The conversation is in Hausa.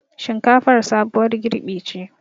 Shinkafar sabuwar girɓi ce